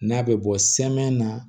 N'a bɛ bɔ sɛmɛn na